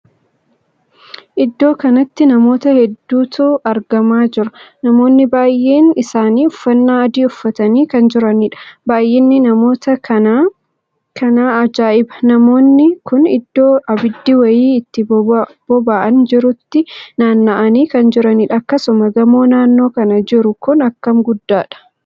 Iddoo kanatti namoota hedduutu argamaa jira. namoonni baay'een isaanii uffannaa adii uffatanii kan jiraniidha. baay'inni namoota kanaa kanaa ajaa'iba!namoonni kun iddoo abiddii wayii itti bobo'aan jirutti naanna'anii kan jiraniidha. akksuma gamoo naannoo kana jiru kun akkam guddaadha!